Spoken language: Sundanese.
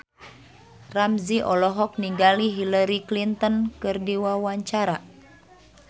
Ramzy olohok ningali Hillary Clinton keur diwawancara